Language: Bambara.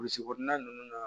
Burusi kɔnɔna nunnu na